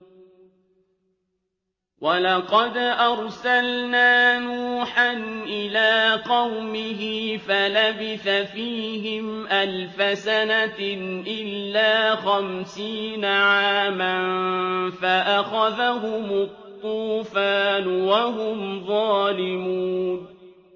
وَلَقَدْ أَرْسَلْنَا نُوحًا إِلَىٰ قَوْمِهِ فَلَبِثَ فِيهِمْ أَلْفَ سَنَةٍ إِلَّا خَمْسِينَ عَامًا فَأَخَذَهُمُ الطُّوفَانُ وَهُمْ ظَالِمُونَ